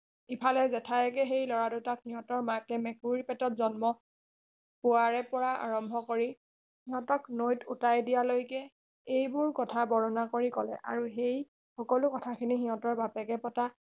ইফালে জেঠায়েকে সেই লৰা দুটাক সিহঁতৰ মাকে মেকুৰীৰ পেটত জন্ম পোৱাৰে পৰা আৰম্ভ কৰি সিহঁতক নৈত উটাই দিয়ালৈকে এইবোৰ কথা বৰ্ণনা কৰি কলে আৰু সেই সকলো কথাখিনি সিহঁতৰ বাপেকে পতা